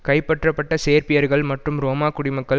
கைப்பற்றப்பட்ட சேர்பியர்கள் மற்றும் ரோமா குடிமக்கள்